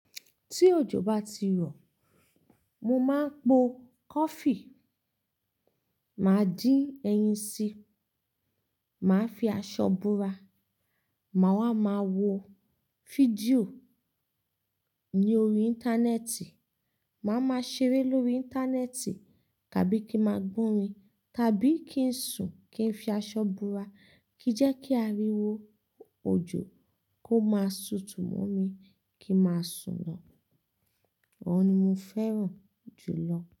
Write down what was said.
Tí òjò bá ti rọ̀, mo máa ń po coffee, màá dín ẹyin sí, màá fi aṣọ bora, màá wá máa wo fídíò ní orí Íńtánẹ́ẹ̀tì, màá máa ṣeré lórí Íńtánẹ́ẹ̀tì tàbí kí ma gbónrin, tàbí kí n sùn kí n fi aṣọ bora kí jẹ́ kí aríwo òjò kó máa tutù mó mi kí n máa sùn lọ. Òhun ni mo fẹ́ràn jù lọ.